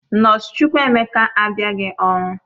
Nọọsụ Chukwuemeka abịaghị ọrụ